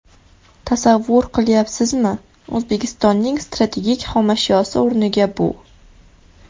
Tasavvur qilayapsizmi, O‘zbekistonning strategik xomashyosi o‘rniga bu.